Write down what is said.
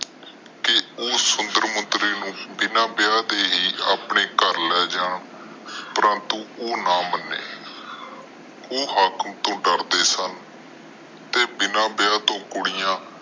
ਤੇ ਉਸ ਸੁੰਦਰ ਮੁੰਦਰੀ ਨੂੰ ਬਿਨਾ ਵਿਆਹ ਕਰਾਏ ਹੀ ਆਪਣੇ ਘਰ ਲੈ ਜਾਨ ਪਰੰਤੂ ਉਹ ਨਾ ਮਾਣੇ ਉਹ ਹਾਕਮ ਤੋਂ ਡਰਦੇ ਸਨ ਤੇ ਬਿਨਾ ਵਿਵਾਹ ਤੋਂ ਕੁੜੀਆਂ